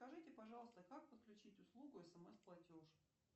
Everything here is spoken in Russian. скажите пожалуйста как подключить услугу смс платеж